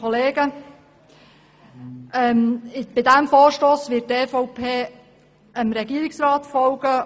Bei diesem Vorstoss wird die EVP dem Regierungsrat folgen.